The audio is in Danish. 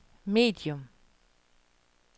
medium